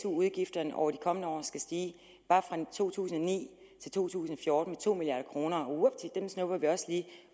udgifterne over de kommende år skal stige bare fra to tusind og ni til to tusind og fjorten med to milliard kroner vupti dem snupper vi også lige